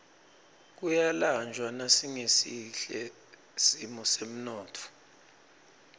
kuyalanjwa nasingesihle simo semnotfo